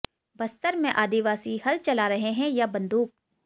बस्तर में आदिवासी हल चला रहे हैं या बंदूक